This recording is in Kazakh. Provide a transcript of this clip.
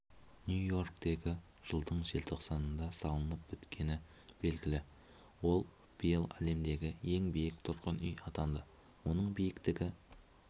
ньюй-йорктегі жылдың желтоқсанында салынып біткені белгілі ол биыл әлемдегі ең биік тұрғын үй атанды оның биіктігі